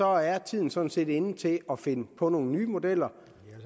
er tiden sådan set inde til at finde på nogle nye modeller